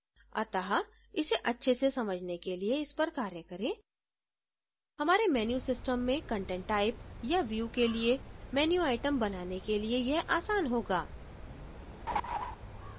अतः इसे अच्छे से समझने के लिए इस पर कार्य करें हमारे menu system में content type या view के लिए menu item बनाने के लिए यह आसान होगा